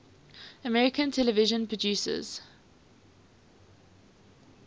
american television producers